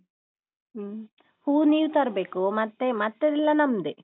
ಹ್ಮ್ ಹ್ಮ್. ಹೂ ನೀವು ತರ್ಬೇಕು ಮತ್ತೆ ಮತ್ತೆಲ್ಲ ನಮ್ದೆ.